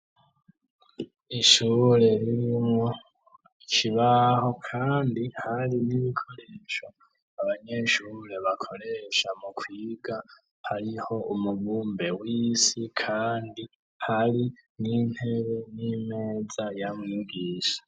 Ishuure ririmwo kibaho, kandi hari n'ibikoresho abanyeshuure bakoresha mu kwiga hariho umubumbe w'isi, kandi hari n'intere n'imeza yamwugisha.